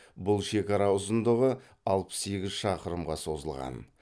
бұл шекара ұзындығы алпыс сегіз шақырымға созылған